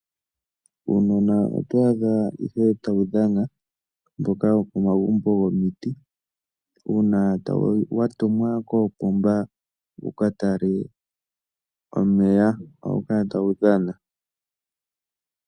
Uunona oto adha ihe tawu dhana mboka wokomagumbo gomiti, uuna wa tumwa koopomba wuka tale omeya. Ohawu kala tawu dhana.